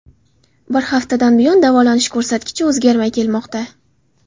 Bir haftadan buyon davolanish ko‘rsatkichi o‘zgarmay kelmoqda.